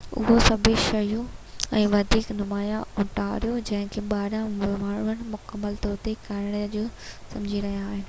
اهي سڀ شيون ۽ وڌيڪ نمايان اونٽاريو جن کي ٻاهريان ماڻهن مڪمل طور تي ڪئناڊا جون سمجهي رهيا آهن